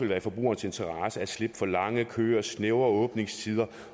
være i forbrugernes interesse at slippe for lange køer snævre åbningstider